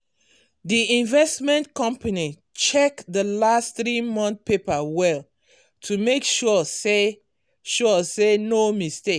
d investment company check d last three month paper well to make sure say sure say no mistake